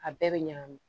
A bɛɛ bɛ ɲagami